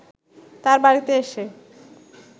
তার বাড়িতে এসে